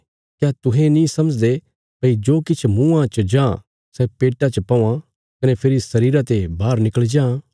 क्या तुहें नीं समझदे भई जो किछ मुँआं च जां सै पेट्टा च पौआं कने फेरी शरीरा ते बाहर निकल़ी जां